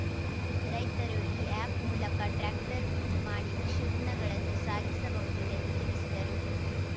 ರೈತರು ಈ ಆ್ಯಪ್‌ ಮೂಲಕ ಟ್ರ್ಯಾಕ್ಟರ್‌ ಬುಕ್‌ ಮಾಡಿ ಕೃಷಿ ಉತ್ಪನ್ನಗಳನ್ನು ಸಾಗಿಸಬಹುದು ಎಂದು ತಿಳಿಸಿದರು